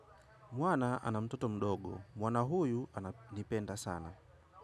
Mwana ana mtoto mdogo. Mwana huyu ananipenda sana.